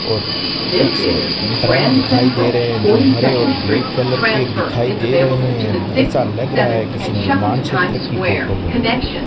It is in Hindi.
और कुछ ड्रम दिखाई दे रहे हैं जो हरे और ब्लैक कलर के दिखाई दे रहे हैं ऐसा लग रहा है किसी निर्माण क्षेत्र की फोटो हो।